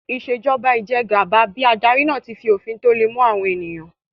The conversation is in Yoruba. Ìṣèjọba ijẹgàba bí adarí náà tí fi òfin tó le mú àwọn ènìyàn